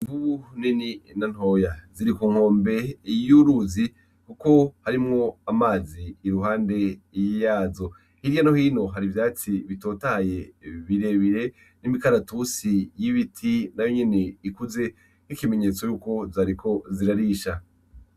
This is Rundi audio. Bu neni na ntoya ziri ku nkombe iyuruzi, kuko harimwo amazi i ruhande yiyazo hirya nohino hari ivyatsi bitotaye birebire n'imikaratusi y'ibiti na yo nyene ikuze k'ikimenyetso yuko zariko zirarisha.